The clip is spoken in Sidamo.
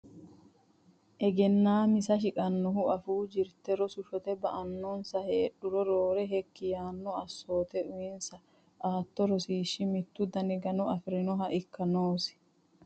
Egennaa misa Shiqannohu afuu jirte rosi shotte ba annonsa heedhuro Roore hekki yaanno assoote uyinsa aatto rosiishshi mittu dani gano afi rinoha ikka noosi.